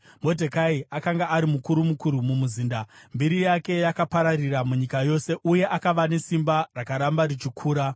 Modhekai akanga ari mukuru mukuru mumuzinda; mbiri yake yakapararira munyika yose, uye akava nesimba rakaramba richikura.